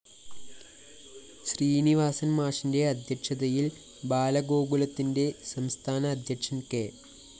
ശ്രീനിവാസന്‍ മാഷിന്റെ അദ്ധ്യക്ഷതയില്‍ ബാലഗോകുലത്തിന്റെ സംസ്ഥാനഅദ്ധ്യക്ഷന്‍ കെ